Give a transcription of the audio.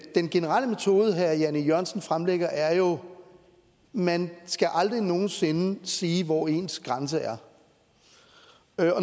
den generelle metode herre jan e jørgensen fremlægger er jo at man aldrig nogen sinde sige hvor ens grænse er